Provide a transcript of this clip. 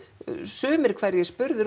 sumir hverjir spurðir